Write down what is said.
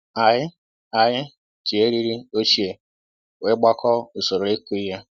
Anyị Anyị ji eriri ochie wee gbakọọ usoro ịkụ ihe